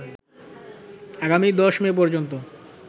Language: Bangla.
আগামী ১০ মে পর্যন্ত